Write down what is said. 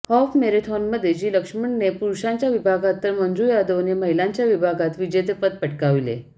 half मॅरेथॉनमध्ये G लक्ष्मणनने पुरूषांच्या विभागात तर मंजु यादवने महिलांच्या विभागात विजेतेपद पटकाविले